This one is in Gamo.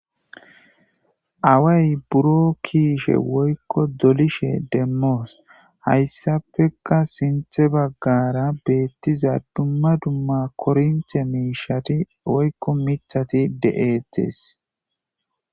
Away buro kiishe woykko dolishe demmoos hayssafeka sinthe baggara beettiza dumma dumma korinte miishati woykko mithati de'eettees